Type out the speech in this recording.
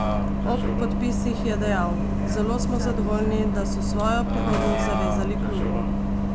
Ob podpisih je dejal: "Zelo smo zadovoljni, da so svojo prihodnost zavezali klubu.